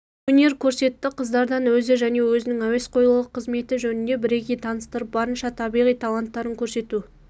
өнер көрсетті қыздардан өзі және өзінің әуесқойлығы қызметі жөнінде бірегей таныстырып барынша табиғи таланттарын көрсету